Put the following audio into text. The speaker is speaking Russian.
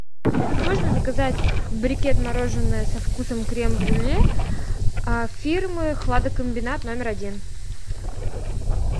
можно заказать брикет мороженое со вкусом крем брюле фирмы хладокомбинат номер один